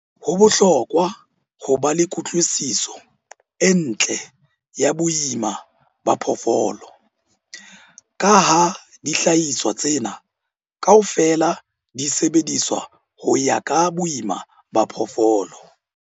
Ho bohlokwa ho ba le kutlwisiso e ntle ya boima ba phoofolo, ka ha dihlahiswa tsena kaofela di sebediswa ho ya ka boima ba phoofolo.